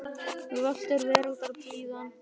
Völt er veraldar blíðan.